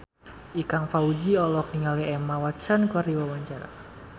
Ikang Fawzi olohok ningali Emma Watson keur diwawancara